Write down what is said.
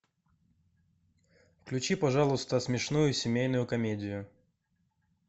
включи пожалуйста смешную семейную комедию